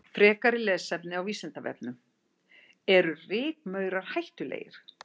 Frekara lesefni á Vísindavefnum: Eru rykmaurar hættulegir?